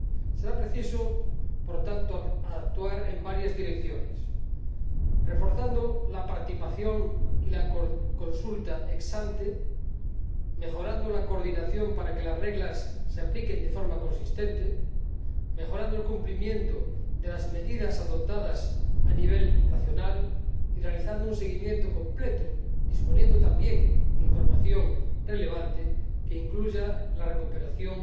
Será preciso, por tanto, actuar en varias direcciones, reforzando la participación y la consulta ex ante, mejorando la coordinación para que las reglas se apliquen de forma consistente, mejorando el cumplimiento de las medidas adoptadas a nivel nacional y realizando un seguimiento completo, disponiendo también de información relevante que incluya la recuperación